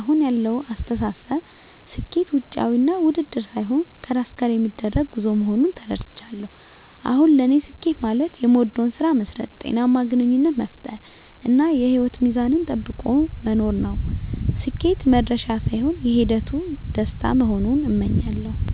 (አሁን ያለው አስተሳሰብ)፦ ስኬት ውጫዊ ውድድር ሳይሆን ከራስ ጋር የሚደረግ ጉዞ መሆኑን ተረድቻለሁ። አሁን ለኔ ስኬት ማለት የምወደውን ስራ መስራት፣ ጤናማ ግንኙነት መፍጠር፣ እና የህይወት ሚዛንን ጠብቆ መኖር ነው። ስኬት "መድረሻ" ሳይሆን የሂደቱ ደስታ መሆኑን አምኛለሁ። -